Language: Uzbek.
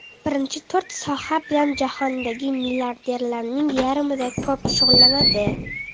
Birinchi to‘rt soha bilan jahondagi milliarderlarning yarmidan ko‘pi shug‘ullanadi.